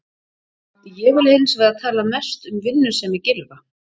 Ég vil hins vegar tala mest um vinnusemi Gylfa.